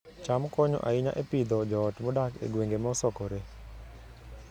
cham konyo ahinya e Pidhoo joot modak e gwenge mosokore